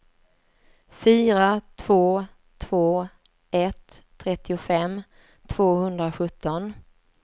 fyra två två ett trettiofem tvåhundrasjutton